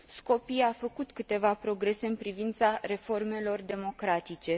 Skopje a făcut câteva progrese în privința reformelor democratice.